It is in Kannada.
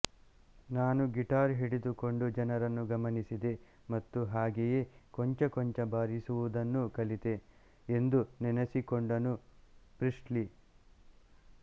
ನಾನು ಗಿಟಾರ್ ಹಿಡಿದುಕೊಂಡು ಜನರನ್ನು ಗಮನಿಸಿದೆ ಮತ್ತು ಹಾಗೆಯೇ ಕೊಂಚ ಕೊಂಚ ಬಾರಿಸುವುದನ್ನು ಕಲಿತೆ ಎಂದು ನೆನೆಸಿಕೊಂಡನು ಪ್ರೀಸ್ಲಿ